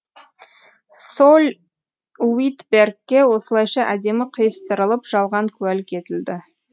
соль уитбергке осылайша әдемі қиыстырылып жалған куәлік етілді